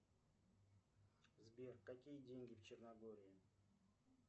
сбер какие деньги в черногории